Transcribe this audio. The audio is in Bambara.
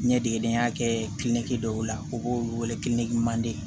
Ɲɛdegedeya kɛ kilkidwo la u b'olu wele kilkimanden